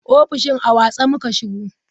Ofishin a watse muka shigo.